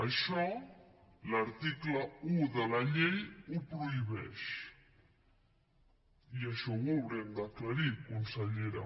això l’article un de la llei ho prohibeix i això ho haurem d’aclarir consellera